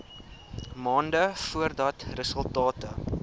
maande voordat resultate